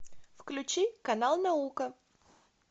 включи канал наука